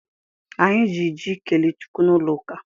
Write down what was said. Anyị ji ji kelee Chukwu n'ụlọ ụka.